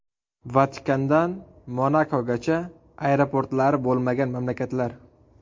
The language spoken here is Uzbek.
Vatikandan Monakogacha: aeroportlari bo‘lmagan mamlakatlar .